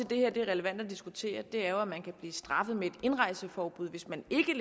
det her er relevant at diskutere er jo at man kan blive straffet med et indrejseforbud hvis man ikke